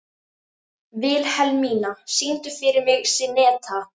Vilhelmína, syngdu fyrir mig „Syneta“.